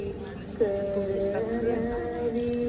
Þú veist að bruna